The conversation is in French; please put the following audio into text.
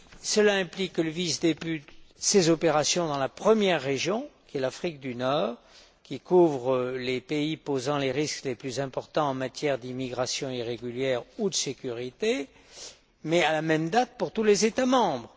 Cela implique que le VIS débute ses opérations dans la première région l'Afrique du Nord, qui couvre les pays posant les risques les plus importants en matière d'immigration irrégulière ou de sécurité à la même date pour tous les États membres.